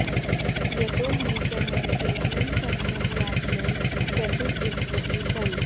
यतो हि सः केवलं समयं यापनं कर्तुम् इच्छति स्म